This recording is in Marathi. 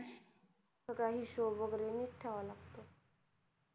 सगळ हिशोब वैगेरे नीट ठेवाव लागतो